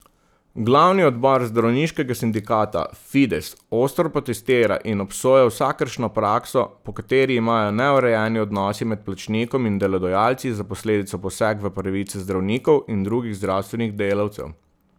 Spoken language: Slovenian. Glavni odbor zdravniškega sindikata Fides ostro protestira in obsoja vsakršno prakso, po kateri imajo neurejeni odnosi med plačnikom in delodajalci za posledico poseg v pravice zdravnikov in drugih zdravstvenih delavcev.